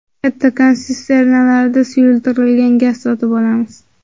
Kattakon sisternalarda suyultirilgan gaz sotib olamiz.